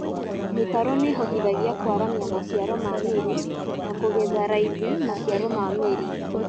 Mĩtaro nĩĩhotithagia kwaramia maciaro ma mĩri na kũgetha raithi maciaro ma mĩri